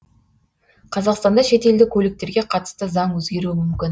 қазақстанда шетелдік көліктерге қатысты заң өзгеруі мүмкін